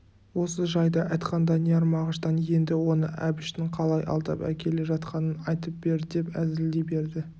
осы жайды айтқан данияр мағыштан енді оны әбіштің қалай алдап әкеле жатқанын айтып бер деп әзілдей берді